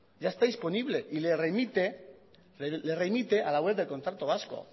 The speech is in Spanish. ya está disponible y le remite a la web del contrato vasco